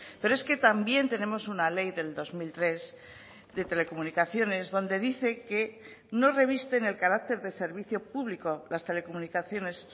pero es que también tenemos una ley del dos mil tres de telecomunicaciones donde dice que no revisten el carácter de servicio público las telecomunicaciones